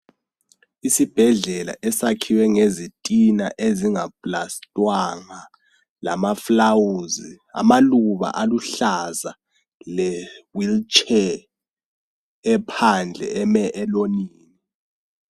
Isibhedlela esakhiwe ngezitina ezinga pulasitwanga lama fulawuzi amaluba aluhlaza le wheelchair ephandle eme elonini.